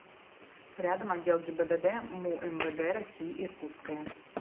рядом отдел гибдд му мвд россии иркутское